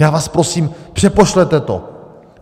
Já vás prosím, přepošlete to.